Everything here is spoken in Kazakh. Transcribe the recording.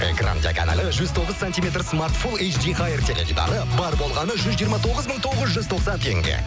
экран диагоналі жүз тоғыз сантиметр смартфон теледидары бар болғаны жүз жиырма тоғыз мың тоғыз жүз тоқсан теңге